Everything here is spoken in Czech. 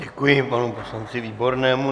Děkuji panu poslanci Výbornému.